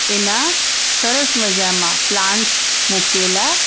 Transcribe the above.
એના સરસ મજામાં પ્લાન્ટસ મુકેલા---